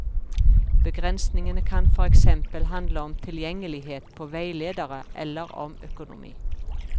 Begrensningene kan for eksempel handle om tilgjengelighet på veiledere eller om økonomi.